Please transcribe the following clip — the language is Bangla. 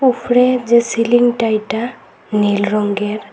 উফরে যে সিলিংটা এটা নীল রঙ্গের।